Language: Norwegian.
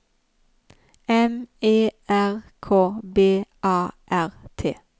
M E R K B A R T